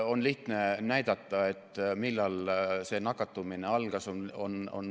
On lihtne näidata, millal nakatumise kasv algas.